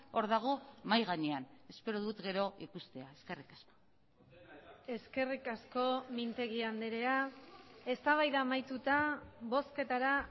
hor dago mahai gainean espero dut gero ikustea eskerrik asko eskerrik asko mintegi andrea eztabaida amaituta bozketara